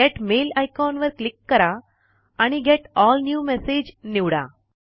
gate mail icon वर click करा आणि गेट एल न्यू मेसॅग निवडा